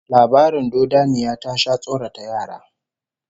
Labarin dodanniya ya sha tsorata yara